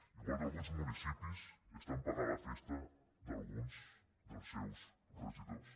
igual que alguns municipis estan pagant la festa d’alguns dels seus regidors